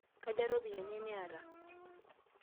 Kaja ropiyiani niata?